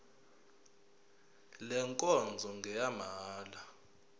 le nkonzo ngeyamahala